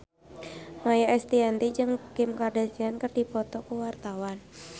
Maia Estianty jeung Kim Kardashian keur dipoto ku wartawan